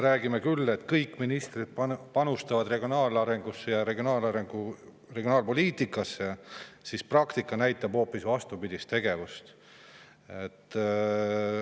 Räägitakse küll, et kõik ministrid panustavad regionaalarengusse ja regionaalpoliitikasse, aga praktika näitab hoopis vastupidist tegevust.